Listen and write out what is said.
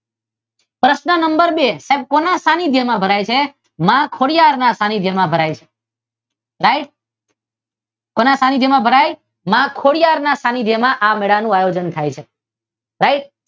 પ્રશ્ન નંબર બે સાહેબ કોના સ્થાનીધ્ય માં ભરાય છે? માં ખોડિયાર ના સ્થાનિધ્ય માં ભરાય છે. રાઇટ? કોના સ્થાનીક્ય માં ભરાય છે? માં ખોડિયાર ના સ્થાનિધ્ય માં આ મેળાનું આયોજન થાય છે.